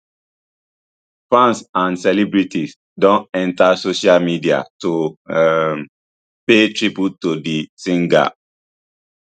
fans and celebrities don enta social media to um pay tribute to di singer